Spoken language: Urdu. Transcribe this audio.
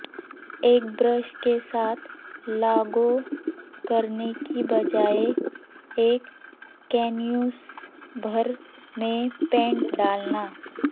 ایک برش کے ساتھ لاگو کرنے کی بجائے ایک کینوس بھر میں پینٹ ڈالنا